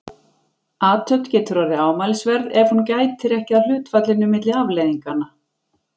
Athöfn getur orðið ámælisverð ef hún gætir ekki að hlutfallinu milli afleiðinganna.